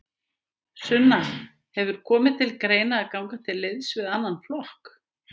Sunna: Hefur komið til greina að ganga til liðs við annan flokk?